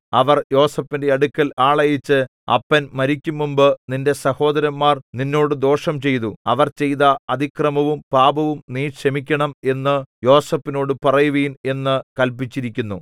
അവർ യോസേഫിന്റെ അടുക്കൽ ആളയച്ച് അപ്പൻ മരിക്കുംമുമ്പ് നിന്റെ സഹോദരന്മാർ നിന്നോട് ദോഷം ചെയ്തു അവർ ചെയ്ത അതിക്രമവും പാപവും നീ ക്ഷമിക്കണം എന്നു യോസേഫിനോടു പറയുവിൻ എന്നു കല്പിച്ചിരിക്കുന്നു